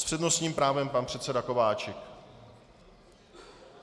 S přednostním právem pan předseda Kováčik.